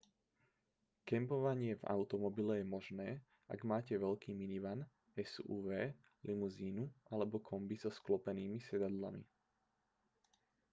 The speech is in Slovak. kempovanie v automobile je možné ak máte veľký minivan suv limuzínu alebo kombi so sklopenými sedadlami